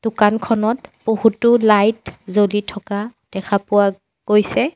দোকানখনত বহুতো লাইট জ্বলি থকা দেখা পোৱা গৈছে।